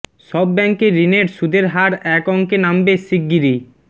সব ব্যাংকের ঋণের সুদের হার এক অঙ্কে নামবে শিগগিরই